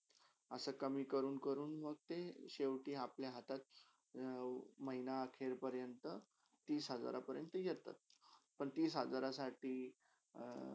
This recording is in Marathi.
असे कमी कडून - कडून मंगते शेवटी अपल्या हातात अ महिन्या आखीर पर्यन्त तीस हजारा पऱ्यांता येता पण तीस हजारासाठी अ